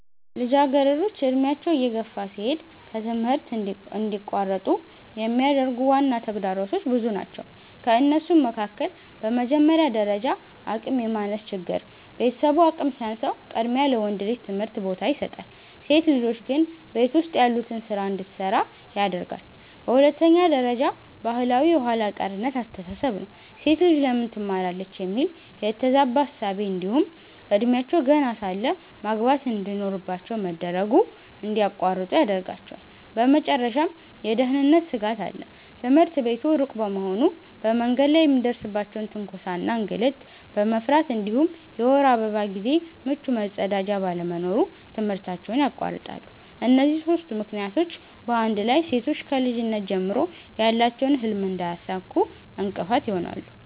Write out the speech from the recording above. ልጃገረዶች ዕድሜያቸው እየገፋ ሲሄድ ከትምህርት እንዲቋረጡ የሚያደርጉ ዋና ተግዳሮቶች ብዙ ናቸው ከእነሱም መካከል፦ በመጀመሪያ ደረጃ አቅም የማነስ ችግር፤ ቤተሰቡ አቅም ሲያንሰው ቅድሚያ ለወንድ ልጅ ትምህርት ቦታ ይሰጣል፣ ሴት ልጆች ግን ቤት ውስጥ ያሉትን ስራ እንድትሰራ ያደርጋለየ። በሁለተኛ ደረጃ ባህላዊ የኋላ ቀርነት አስተሳሰብ ነው፤ "ሴት ልጅ ለምን ትማራለች?" የሚል የተዛባ እሳቤ እንዲሁም እድሜያቸው ገና ሳለ ማግባት እንድኖርባቸው መደረጉ እንድያቋርጡ ይዳርጋቸዋል። በመጨረሻም የደህንነት ስጋት አለ፤ ትምህርት ቤቱ ሩቅ በመሆኑ በመንገድ ላይ የሚደርስባቸውን ትንኮሳ እና እንግልት በመፍራት እንዲሁም የወር አበባ ጊዜ ምቹ መጸዳጃ ባለመኖሩ ትምህርታቸውን ያቋርጣሉ። እነዚህ ሦስቱ ምክንያቶች በአንድ ላይ ሴቶች ከልጅነት ጀምሮ ያላቸውን ህልም እንዳያሳኩ እንቅፋት ይሆናሉ።